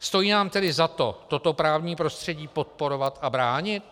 Stojí nám tedy za to toto právní prostředí podporovat a bránit?